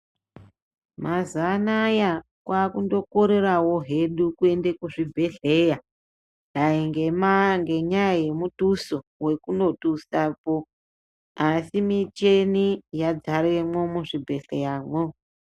Mazuva anaya kwaakundokorerawo hedu kuende kuzvibhadhleya dai ngenyaya yemutuso wekunotusapo asi muchini yadzaremwo muzvibhedhleramwo.